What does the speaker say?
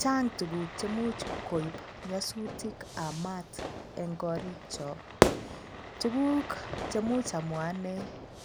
Chang' tuguk chemuch koib nyosutikab maat eng' korikcho tuguk chemuch amwa ane